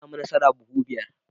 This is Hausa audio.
Na samu masara buhu biyar.